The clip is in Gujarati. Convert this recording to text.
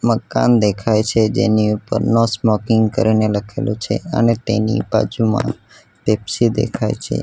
મકાન દેખાય છે જેની ઉપરનો નો સ્મોકિંગ કરીને લખેલું છે અને તેની બાજુમાં પેપ્સી દેખાય છે.